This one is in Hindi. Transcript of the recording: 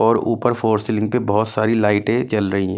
और ऊपर फोर सीलिंग पे बहुत सारी लाइटें चल रही है।